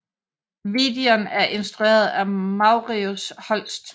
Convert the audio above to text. Videon er instrueret af Marius Holst